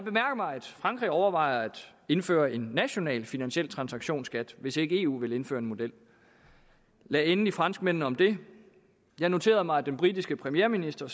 frankrig overvejer at indføre en national finansiel transaktionsskat hvis eu ikke vil indføre en model lad endelig franskmændene om det jeg noterede mig at den britiske premierminister